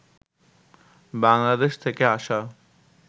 বাংলাদেশ থেকে আসা